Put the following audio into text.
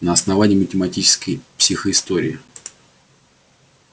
на основании математической психоистории